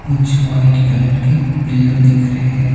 कुछ white colour के pillow दिख रहें हैं।